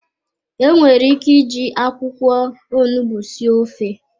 Enwere ike iji akwụkwọ onugbu sie ofe.